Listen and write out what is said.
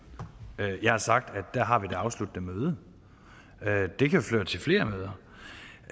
jeg har sagt at der har vi det afsluttende møde det kan føre til flere møder